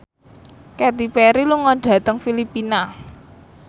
Katy Perry lunga dhateng Filipina